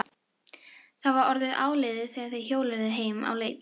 Það var orðið áliðið þegar þeir hjóluðu heim á leið.